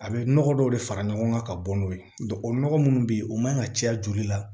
A bɛ nɔgɔ dɔw de fara ɲɔgɔn kan ka bɔ n'o ye o nɔgɔ minnu bɛ yen o man kan ka caya joli la